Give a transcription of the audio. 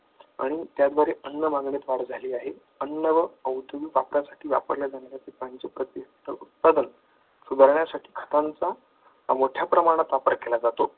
आणि त्याद्वारे अन्न मागण्यात वाढ झाली आहे. अन्न व वापरल्या जाणाऱ्या उत्पादन सुधारण्यासाठी त्यांचा मोठ्या प्रमाणात आपण केला जातो.